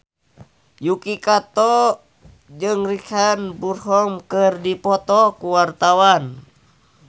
Yuki Kato jeung Richard Burton keur dipoto ku wartawan